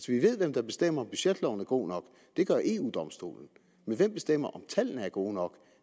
vi ved hvem der bestemmer om budgetloven er god nok det gør eu domstolen men hvem bestemmer om tallene er gode nok